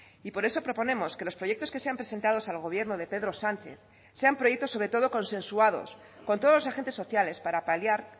y por eso proponemos que los proyectos que se han presentados al gobierno de pedro sánchez sean proyectos sobre todo consensuados con todos los agentes sociales para paliar